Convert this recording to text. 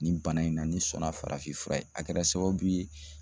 Nin bana in na ne sɔnna farafin fura ye a kɛra sababu ye